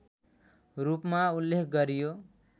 रूपमा उल्लेख गरियो